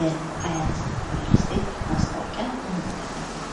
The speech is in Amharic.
የአያት ሪል ስቴት ማስታወቂያ እንመለከታለን፡፡